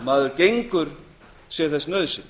maður gengur sé þess nauðsyn